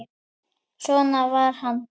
Svona var hann.